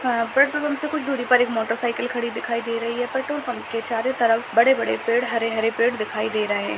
हाँ petrol pump से ही कुछ दूरी पर एक मोटरसाइकिल खड़ी दिखाई दे रही है| पेट्रोल पम्प के चारों तरफ बड़े बड़े पेड़ हरे-हरे पेड़ दिखाई दे रहे है।